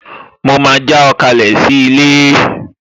Mo máa já ọ kalẹ̀ sí ilé